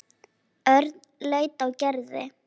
Örn leit á Gerði.